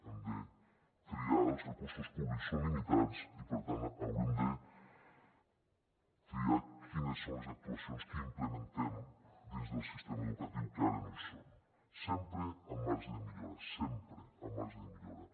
hem de triar els recursos públics són limitats i per tant haurem de triar quines són les actuacions que implementem dins del sistema educatiu que ara no hi són sempre amb marge de millora sempre amb marge de millora